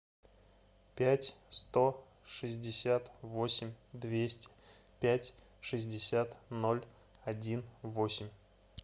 пять сто шестьдесят восемь двести пять шестьдесят ноль один восемь